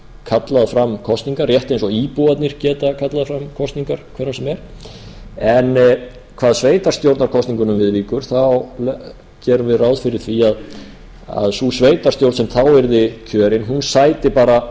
kallað fram kosningar rétt eins og íbúarnir geta kallað fram kosningar hvenær sem er en hvað sveitarstjórnarkosningunum viðvíkur gerum við ráð fyrir því að sú sveitarstjórn sem þá yrði kjörin sæti bara